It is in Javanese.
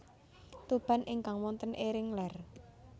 Tuban ingkang wonten ering ler